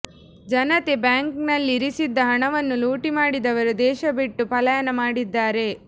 ಜನತೆ ಬ್ಯಾಂಕ್ನಲ್ಲಿ ಇರಿಸಿದ್ದ ಹಣವನ್ನು ಲೂಟಿ ಮಾಡಿದವರು ದೇಶ ಬಿಟ್ಟು ಪಲಾಯನ ಮಾಡಿದ್ದಾರೆ